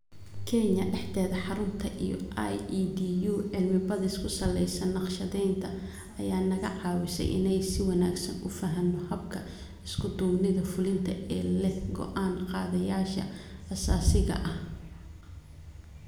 Kenya dhexdeeda, xarunta iyo EIDU cilmi-baadhis ku salaysan nashqadeynta ayaa naga caawisay inaan si wanagsan u fahanno habka 'isku-duubnida fulinta' ee leh go'aan-qaadayaasha asaasiga ah.